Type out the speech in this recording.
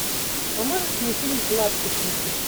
а можешь мне фильм лапси включить